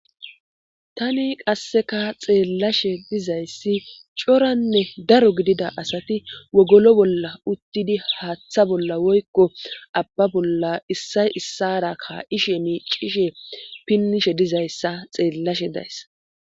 tani qasseka xeellashe dizayssi coranne daro gidida asati wogolo bolla uttidi haaththa bolla woykko abba bolla issay issara ka7ishe miicishe pinnishe dizayssa xeellashe days